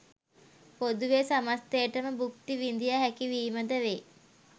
පොදුවේ සමස්තයට ම භුක්ති විඳිය හැකි වීම ද වේ.